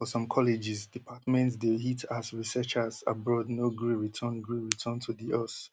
and for some colleges departments dey hit as researchers abroad no gree return gree return to di us